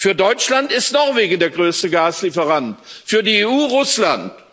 Für Deutschland ist Norwegen der größte Gaslieferant, für die EU Russland.